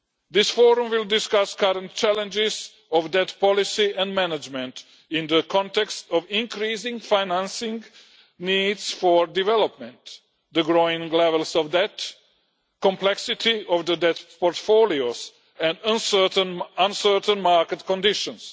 This forum will discuss current challenges of debt policy and management in the context of increasing financing needs for development, the growing levels of debt, complexity of the debt portfolios and uncertain market conditions.